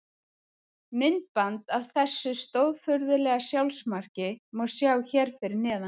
Myndband af þessu stórfurðulega sjálfsmarki má sjá hér fyrir neðan.